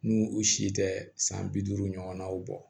N'u u si tɛ san bi duuru ɲɔgɔnnaw bɔ